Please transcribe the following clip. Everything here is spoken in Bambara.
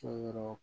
To yɔrɔ